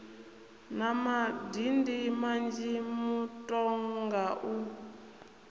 na madindi manzhi mutoga u